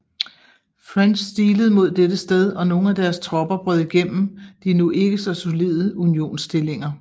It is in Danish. French stilede mod dette sted og nogle af deres tropper brød igennem de nu ikke så solide unionsstillinger